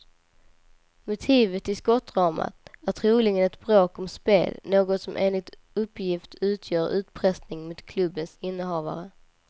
Motivet till skottdramat är troligen ett bråk om spel, något som enligt uppgift utgör utpressning mot klubbens innehavare.